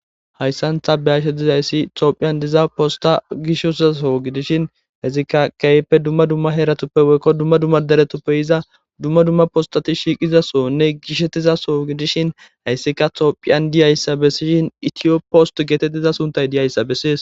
Hayssantha beyashedizayssi toophiyan diza posta gishozaso gidishin hezikka keeyeppe dumma dumma heeratuppe woykko dumma dumma deretuppe iza dumma dumma postati shiiqizasonne gishettizaso gidishin hayssika toophiyan diyayssa bessishin itiyo post geetettiza suntay diyayssa bessees.